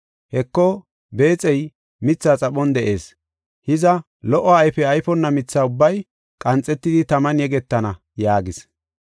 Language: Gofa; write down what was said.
Heko, beexey mithaa xaphon de7ees. Hiza, lo77o ayfe ayfonna mitha ubbay qanxetidi taman yegetana” yaagis.